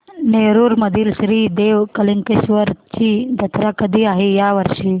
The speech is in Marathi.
नेरुर मधील श्री देव कलेश्वर ची जत्रा कधी आहे या वर्षी